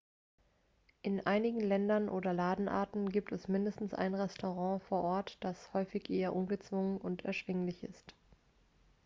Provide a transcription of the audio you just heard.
in einigen ländern oder ladenarten gibt es mindestens ein restaurant vor ort das häufig eher ungezwungen und erschwinglich ist